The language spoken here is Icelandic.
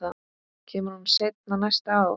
Kemur hún seinna næsta ár?